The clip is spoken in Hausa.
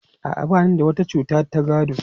A'a, ba ni da wata cuta ta gado.